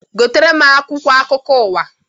Gotere m akwụkwọ akụkọ ụwa!